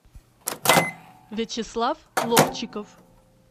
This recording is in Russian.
вячеслав ловчиков